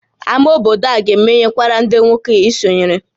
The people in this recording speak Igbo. Ámá obodo a ga-emeghekwara ndị nwoke i sonyere?